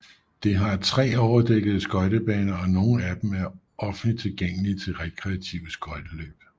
Det har tre overdækkede skøjtebaner og nogle af dem er offentligt tilgængelige til rekreative skøjteløb